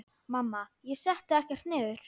Mamma: Ég setti ekkert niður!